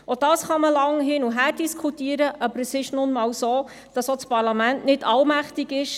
Auch darüber liesse sich lange hin- und her diskutieren, aber es ist nun einmal so, dass auch das Parlament nicht allmächtig ist.